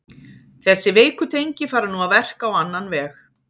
Þessi veiku tengi fara nú að verka á annan veg.